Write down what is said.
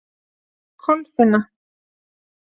Kolfinna